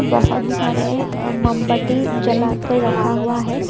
बहुत सारे मोमबत्ती जलाकर रखा हुआ है।